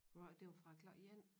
Hvad var det det var fra klokken 1